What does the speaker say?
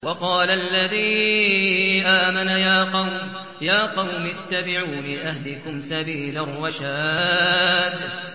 وَقَالَ الَّذِي آمَنَ يَا قَوْمِ اتَّبِعُونِ أَهْدِكُمْ سَبِيلَ الرَّشَادِ